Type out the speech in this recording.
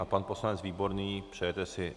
A pan poslanec Výborný - přejete si?